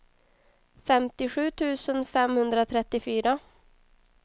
femtiosju tusen femhundratrettiofyra